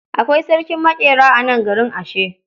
Akwai sarkin maƙera a nan garin ashe.